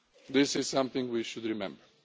This is something we should remember.